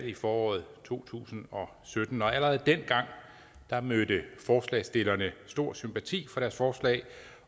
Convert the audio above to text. i foråret to tusind og sytten allerede dengang mødte forslagsstillerne stor sympati for deres forslag